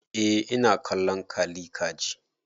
Eh ina kallon kalli ka ji.